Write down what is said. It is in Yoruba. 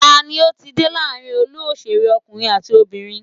Tani ó ti dé láàrin olú òṣèré ọkùnrin àti obìnrin?